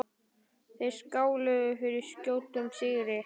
Þeir skáluðu fyrir skjótum sigri.